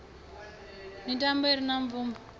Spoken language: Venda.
mitambo i re na bvumo